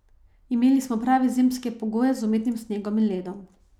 Imeli smo prave zimske pogoje z umetnim snegom in ledom.